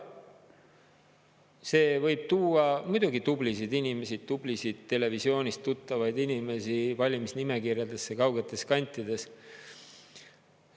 See võib tuua muidugi tublisid inimesi, tublisid televisioonist tuttavaid inimesi valimisnimekirjadesse kaugetes kantides.